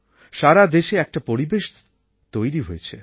সারা দেশে একটা পরিবেশ তৈরি হয়েছে